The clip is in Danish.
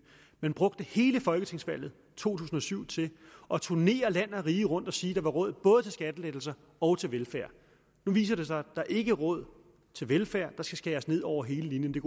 man brugte hele folketingsvalget to tusind og syv til at turnere land og rige rundt og sige at der var råd både til skattelettelser og til velfærd nu viser det sig at der ikke er råd til velfærd at der skal skæres ned over hele linjen det